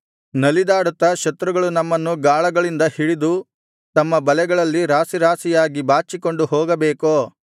ನಲಿದಾಡುತ್ತಾ ಶತ್ರುಗಳು ನಮ್ಮನ್ನು ಗಾಳಗಳಿಂದ ಹಿಡಿದು ತಮ್ಮ ಬಲೆಗಳಲ್ಲಿ ರಾಶಿ ರಾಶಿಯಾಗಿ ಬಾಚಿಕೊಂಡು ಹೋಗಬೇಕೋ